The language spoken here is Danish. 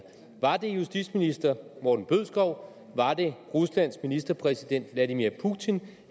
var det justitsminister morten bødskov var der ruslands ministerpræsident vladimir putin